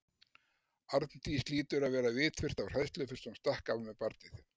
Arndís hlýtur að vera vitfirrt af hræðslu fyrst hún stakk af með barnið.